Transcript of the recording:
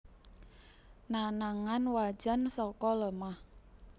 Nanangan wajan saka lemah